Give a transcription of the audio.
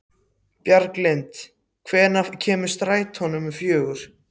Bjarglind, hvenær kemur strætó númer fjögur?